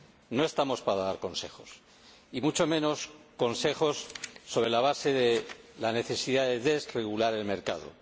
No estamos para dar consejos, y mucho menos consejos sobre la base de la necesidad de desregular el mercado.